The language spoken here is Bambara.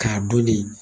K'a dɔn ne